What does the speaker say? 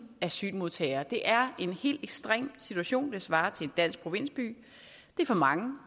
asylmodtagere det er en helt ekstrem situation det svarer til en dansk provinsby det er for mange